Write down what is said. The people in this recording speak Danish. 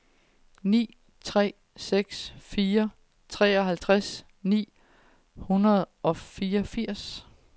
ni tre seks fire treoghalvtreds ni hundrede og fireogfirs